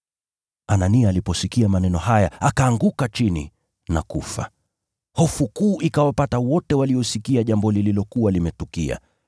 Anania aliposikia maneno haya akaanguka chini na kufa. Hofu kuu ikawapata wote waliosikia jambo lililokuwa limetukia.